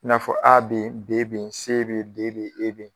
I n'a fɔ A bɛ yen, B bɛ yen, S bɛ yen, D bɛ yen, E bɛ yen.